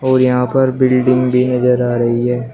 और यहां पर बिल्डिंग भी नजर आ रही है।